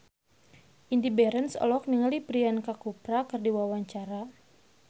Indy Barens olohok ningali Priyanka Chopra keur diwawancara